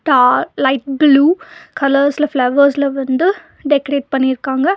பா light blue கலர்ஸ்ல ஃபிளவர்ஸ்ல வந்து டெக்கரேட் பண்ணிருக்காங்க.